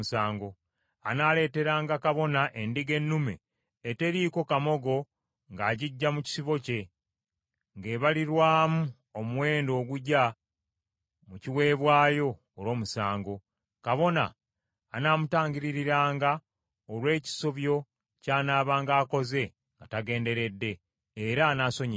Anaaleeteranga kabona endiga ennume eteriiko kamogo ng’agiggya mu kisibo kye, ng’ebalirirwamu omuwendo ogugya mu kiweebwayo olw’omusango. Kabona anaamutangiririranga olw’ekisobyo ky’anaabanga akoze nga tagenderedde, era anaasonyiyibwanga.